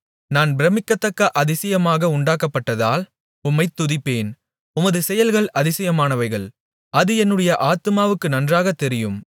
நான் பிரமிக்கத்தக்க அதிசயமாக உண்டாக்கப்பட்டதால் உம்மைத் துதிப்பேன் உமது செயல்கள் அதிசயமானவைகள் அது என்னுடைய ஆத்துமாவுக்கு நன்றாகத் தெரியும்